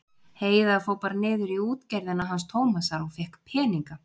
Heiða fór bara niður í útgerðina hans Tómasar og fékk peninga.